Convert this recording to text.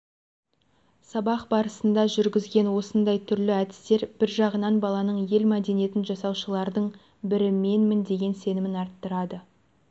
сабақ барысында жүргізген осындай түрлі әдістер бір жағынан баланың ел мәдениетін жасаушылардың бірі менмін деген сенімін арттырады